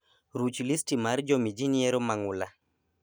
Ruch listi mar jomii jii nyiero ma ng'ula